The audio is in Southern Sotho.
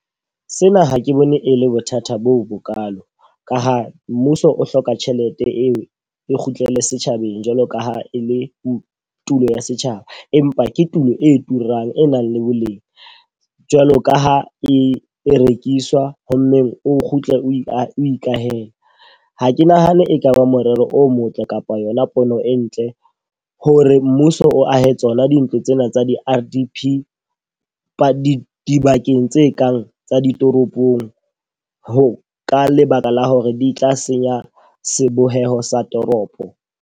Sena ha ke bone e le bothata bo bo kalo. Ka ha mmuso o hloka tjhelete eo e kgutlele setjhabeng jwalo ka ha e le tulo ya setjhaba. Empa ke tulo e turang e nang le boleng. Jwalo ka ha e e rekiswa. Ho mmeng o kgutle o ikahele. Ha ke nahane e ka ba morero o motle kapa yona pono e ntle hore mmuso o ahe dintlo tsena tsa di-R_D_P ba di dibakeng tse kang tsa ditoropong. Ho ka lebaka la hore di tla senya seboheho sa toropo.